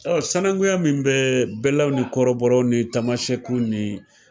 Ɔn sanakunya min bɛ bɛlaw ni kɔrɔbɔrɔw ni tamasɛkuw ni